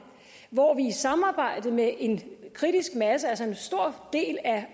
hvor vi i samarbejde med en kritisk masse altså en stor del af